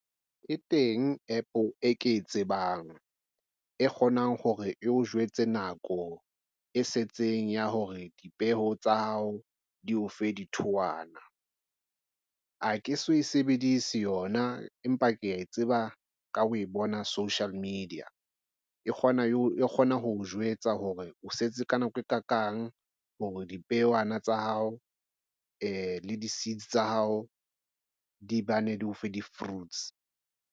E teng App e ke e tsebang e kgonang hore e o jwetse nako e setseng ya hore dipeo tsa hao di o fe dithowana. Ha ke so e sebedise yona empa ke ya tseba ka o e bona social media e kgona o kgona ho o jwetsa hore o setse ka nako e ka kang hore dipeowana tsa hao e le di-seeds tsa hao di bane di o fe di-fruits.